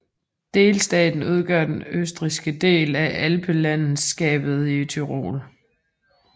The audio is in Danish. Delstaten udgør den østrigske del af alpelandskabet Tyrol